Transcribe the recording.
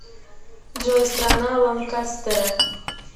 джой страна ланкастеры